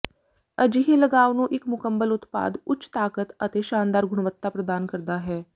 ਅਜਿਹੇ ਲਗਾਵ ਨੂੰ ਇੱਕ ਮੁਕੰਮਲ ਉਤਪਾਦ ਉੱਚ ਤਾਕਤ ਅਤੇ ਸ਼ਾਨਦਾਰ ਗੁਣਵੱਤਾ ਪ੍ਰਦਾਨ ਕਰਦਾ ਹੈ